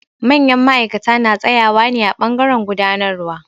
Manyan ma'aikata na tsaƴawa ne a ɓangaren gudanarwa.